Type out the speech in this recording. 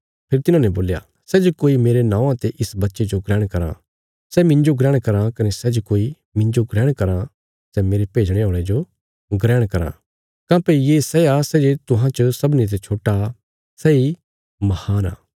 फेरी तिन्हांने बोल्या सै जे कोई मेरे नौआं ते इस बच्चे जो ग्रहण कराँ सै मिन्जो ग्रहण कराँ कने सै जे कोई मिन्जो ग्रहण कराँ सै मेरे भेजणे औल़े जो ग्रहण कराँ काँह्भई ये सै आ सै जे तुहां च सबनी ते छोट्टा सैई महान आ